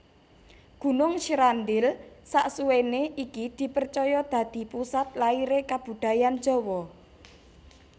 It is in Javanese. Gunung Srandil saksuwéné iki dipercaya dadi pusat lahiré kebudayaan Jawa